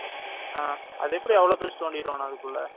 ஆஹ் அது எப்படி